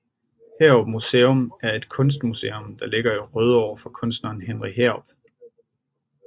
Heerup Museum er et kunstmuseum der ligger i Rødovre for kunstneren Henry Heerup